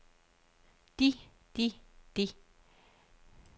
de de de